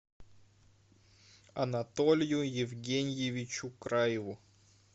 анатолию евгеньевичу краеву